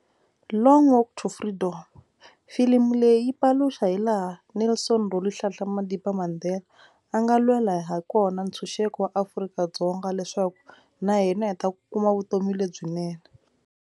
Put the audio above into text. Long walk to freedom filimi leyi paluxa hi laha Nelson Rolihlahla Madiba Mandela a nga lwela ha kona ntshunxeko wa Afrika-Dzonga leswaku na hina hi ta kuma vutomi lebyinene.